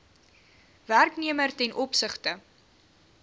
werknemer ten opsigte